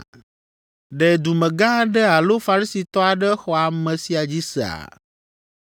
Ɖe dumegã aɖe alo Farisitɔ aɖe xɔ ame sia dzi sea?